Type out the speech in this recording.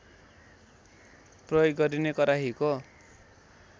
प्रयोग गरिने कराहीको